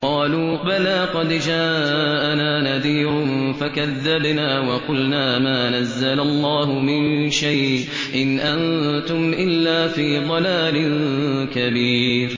قَالُوا بَلَىٰ قَدْ جَاءَنَا نَذِيرٌ فَكَذَّبْنَا وَقُلْنَا مَا نَزَّلَ اللَّهُ مِن شَيْءٍ إِنْ أَنتُمْ إِلَّا فِي ضَلَالٍ كَبِيرٍ